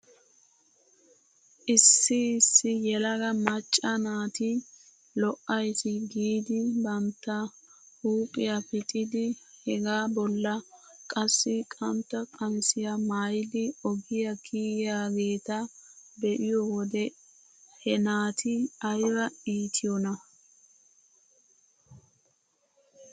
Issi issi yelaga macca naati lo'ays giidi bantta huuphphiyaa pixidi hegaa bolla qassi qantta qamisiyaa maayidi ogiyaa kigiyaageeta be'iyoo wode he naati ayba iitiyoonaa.